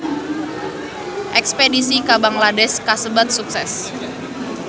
Espedisi ka Bangladesh kasebat sukses